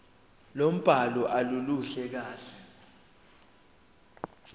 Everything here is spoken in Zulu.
lombhalo aluluhle kahle